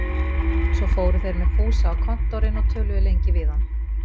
Svo fóru þeir með Fúsa á Kontórinn og töluðu lengi við hann.